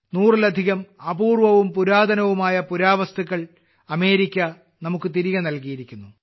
നൂറിലധികം അപൂർവവും പുരാതനവുമായ പുരാവസ്തുക്കൾ അമേരിക്ക നമുക്ക് തിരികെ നൽകിയിരിക്കുന്നു